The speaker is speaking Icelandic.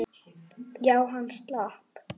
Já, hann slapp.